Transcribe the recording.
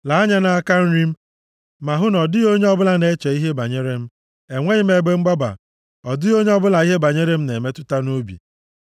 Lee anya nʼaka nri m ma hụ na ọ dịghị onye ọbụla na-eche ihe banyere m. Enweghị m ebe mgbaba. Ọ dịghị onye ọbụla ihe banyere m na-emetụta nʼobi.